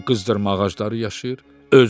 Orda qızdırma ağacları yaşayır.